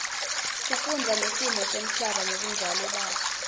kufundza ngesimo semhlaba ngebunjalo baso